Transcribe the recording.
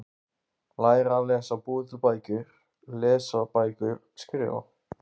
Læra að lesa- búa til bækur- lesa bækur- skrifa